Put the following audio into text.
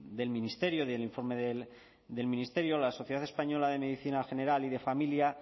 del ministerio del informe del ministerio la sociedad española de medicina general y de familia